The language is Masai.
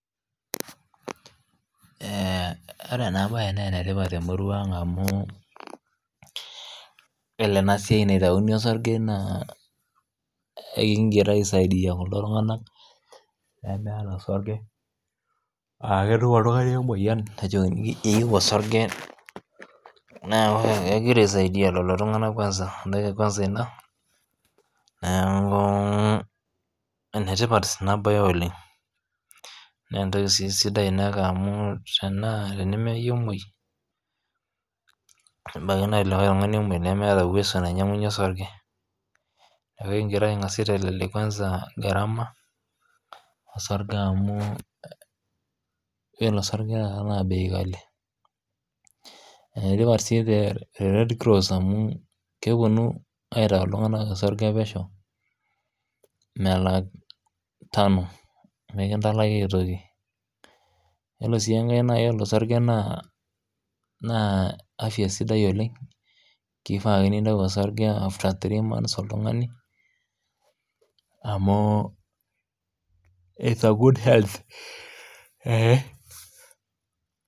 Ore ena mbae naa enitipat temurua ang amu ore enasiai naitawuni osarge naa ekigira aisaidia kulo tung'ana lemeeta osarge aa ketum oltung'ani emoyian nejokini eyieu osarge ekigira aisaidia lelo tung'ana kwanza enetipat ena mbae oleng naa entoki sidai ena amu tenemeyieu omuoi nebaiki naa lekae tung'ani amuoi nebaiki nemeeta uwezo nainyiangunye osarge neeku ekigira ang'as aitelelek gharama osarge amuu iyiolo osarge taata naa bei ghali kikash si tee red cross amu kepuonu aitayu iltung'ana osarge pesho melaki Tano] mikintalaki aitoki ore sii enkae toki naa eyiolo osarge naa afya sidai oleng kifaa ake nintau osarge after three months oltung'ani amu it's a good health